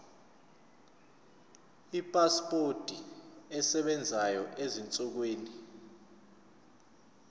ipasipoti esebenzayo ezinsukwini